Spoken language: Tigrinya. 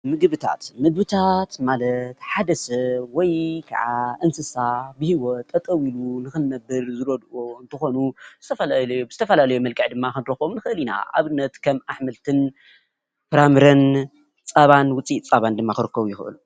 ምግብታት።፦ምግቢታት ማለት ሓደ ሰብ ወይ ከዓ እንስሳ በሂወት ጠጠው ኢሉ ንክንብር ዝበልዕዎ እንትኮኑ ብዝተፈላለዩ መልክዕ ድማ ክንረክቦም ንክእል ኢና ንኣብነት ከም ኣሕምልት ፈራምረን ፃባን ውፂኢት ፃባን ድማ ክርኸቡ ይኸእሉ፡፡